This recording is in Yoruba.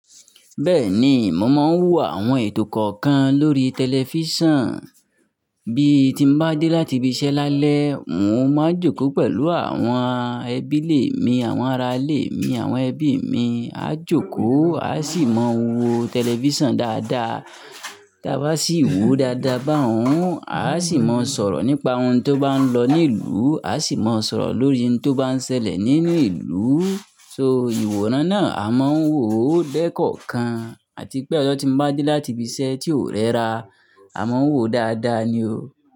Bẹ́ẹ̀ni, mo máa ń wo àwọn ètò kọ̀ọ̀kan lórí tẹlifísàn. Bí tí n bá dé láti ibi iṣẹ́ lálẹ́, n ó máa jókòó pẹ̀lú àwọn ẹbí lè mi, àwọn aralè mi, àwọn ẹbí mi. A jókòó, a sì mọ wo tẹlifísàn dáadáa. Tí a bá sì wòó dáadáa bá òun, a sì mọ sọ̀rọ̀ nípa ohun tó bá ń lọ ní ìlú, a sì mọ sọ̀rọ̀ lórí ohun tó bá ń ṣẹlẹ̀ nínú ìlú. So ìwòran náà a máa ń wòó dẹ́kọọ̀kan àti pé ọ̀sọ́ tí n bá dé láti ibi iṣẹ́ tí ó rẹ́ra, a máa ń wòó dáadáa ni o.